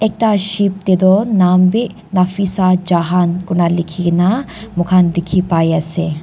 ekta ship te toh nam bi nafisa jahan kurina likhina moikhan dikhi pai ase.